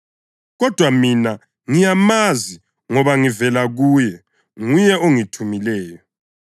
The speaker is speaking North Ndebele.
kodwa mina ngiyamazi ngoba ngivela kuye, nguye ongithumileyo.”